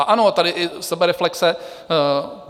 A ano, tady i sebereflexe.